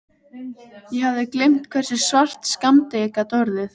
Ég hafði gleymt hversu svart skammdegið gat orðið.